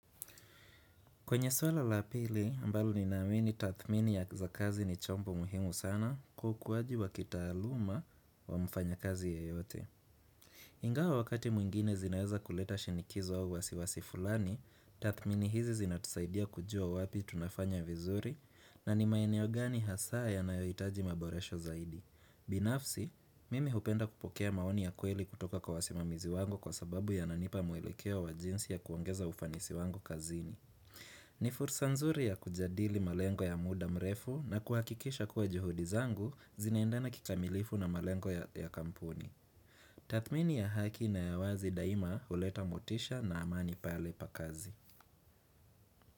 Kwenye swala la pili, ambalo ninaamini tathmini ya za kazi ni chombo muhimu sana kukuwaji wa kitaaluma wa mfanyakazi ya yote. Ingawa wakati mwingine zinaweza kuleta shinikizo au wasiwasi fulani, tathmini hizi zinatusaidia kujua wapi tunafanya vizuri na ni maeneo gani hasaa ya nayoitaji maboresho zaidi. Binafsi, mimi hupenda kupokea maoni ya kweli kutoka kwa wasimamizi wango kwa sababu yananipa mwelekeo wa jinsi ya kuangeza ufanisi wangu kazini. Ni fursa nzuri ya kujadili malengo ya muda mrefu na kuhakikisha kuwa juhudi zangu zinaendana kikamilifu na malengo ya kampuni Tathmini ya haki na ya wazi daima huleta motisha na amani pale pa kazi.